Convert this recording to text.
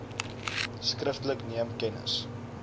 skriftelik neem kennis